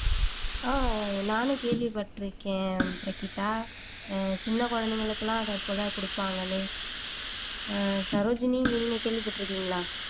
ஆஹ் நானும் கேள்விப்பட்டிருக்கேன் பிரகீதா ஆஹ் சின்ன குழந்தைகளுக்கு எல்லாம் அதைக்கூட குடுப்பாங்கன்னு ஆஹ் சரோஜினி நீங்க கேள்விப்பட்டிருக்கீங்களா